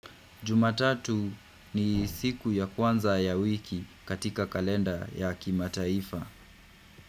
Jumatatu ni siku ya kwanza ya wiki katika kalenda ya kimataifa.